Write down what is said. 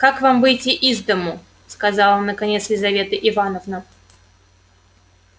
как вам выйти из дому сказала наконец лизавета ивановна